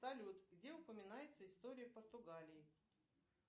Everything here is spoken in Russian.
салют где упоминается история португалии